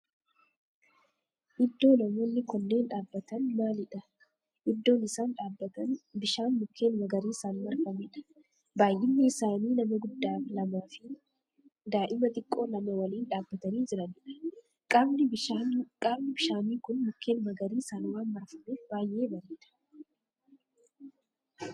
iddoo namoonni kunneen dhaabbatan maalidha? Iddoon isaan dhaabbatan bishaan mukkeen magariisan marfamedha. baayyinni isaanii nama guddaa lama fi daa'ima xiqqoo lama waliin dhaabbatanii jiranidha. Qaamni bishaani kun mukkeen magariisan waan marfameef baayyee bareeda.